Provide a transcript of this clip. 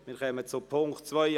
Wir kommen zum Punkt 2.